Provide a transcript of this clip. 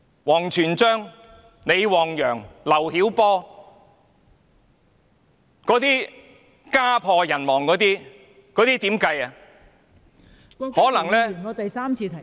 王全璋、李旺陽、劉曉波等家破人亡的情況，大家如何看待呢？